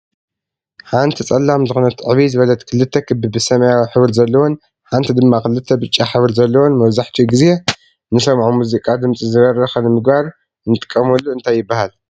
ሓንቲ ፀላም ዝኮነት ዕብይ ዝበለት ክልተ ክቢ ብሰማያዊ ሕብሪ ዘለዎን ሓንቲ ድማ ክልተ ብጫ ሕብሪ ዘለዎን መብዛሕቲኡ ግዜ ንሰምዖም ምዚቃ ድምፂ ዝበረከ ንምግባር ንምጥቀመሉ እንታይ ይብሃል?